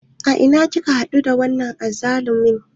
A ina kika haɗu da wannan azzalumin?